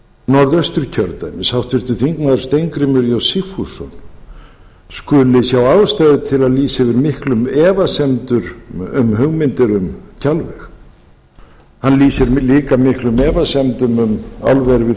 norðausturkjördæmis háttvirtur þingmaður steingrímur j sigfússon skuli sjá ástæðu til að lýsa yfir miklum efasemdum um hugmyndir um kjalveg hann lýsir líka miklum efasemdum um álver við